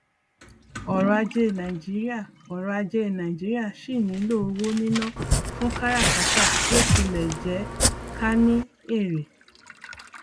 ọrọ ajé nàìjíríà ọrọ ajé nàìjíríà síì nílò owó níná fún káràkátà bí ó tilẹ jẹ ká ní èrè